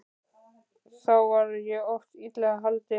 Þá var ég oft illa haldinn.